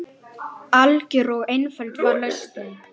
Lausnin var einföld og algjör.